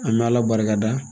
An bɛ Ala barikada